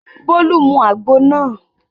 Bólú mu àgbo náà.